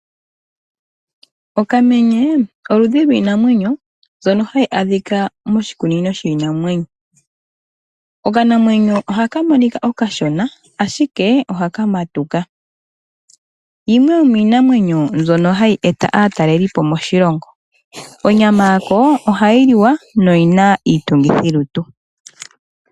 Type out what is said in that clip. Okamenye oludhi lwiinamwenyo mbyono hayi adhika moshikunino shiinanwenyo. Okanamwenyo ohaka monika okashona ashike ohaka matuka ,yimwe yomiinamwenyo mbyono hayi eta aatalelipo moshilongo. Onyama yako ohayi liwa noyina iitungithilutu.